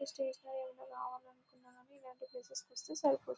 ఈ స్టేషనరీ ఏమైన కావాలనుకున్నా ఇలాంటి ప్లేసెస్ కి వస్తే సరిపోతుంది.